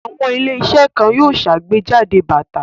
Àwọn ilé-iṣẹ́ kan yóò ṣàgbéjáde bàtà.